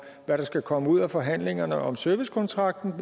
hvad der skal komme ud af forhandlingerne om servicekontrakten